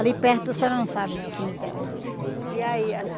Ali perto, a senhora não sabe né o cemitério onde é. E aí?